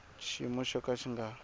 xiyimo xo ka xi nga